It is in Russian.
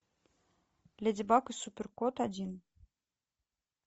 леди баг и суперкот один